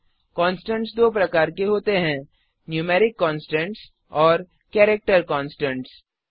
constants दो प्रकार के होते हैं नूमेरिक कॉन्स्टन्ट्स और केरेक्टर कॉन्स्टन्ट्स